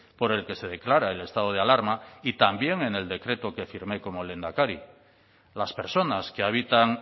por el que se declara el estado de alarma y también en el decreto que firmé como lehendakari las personas que habitan